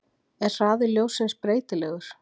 Er hraði ljóssins breytilegur?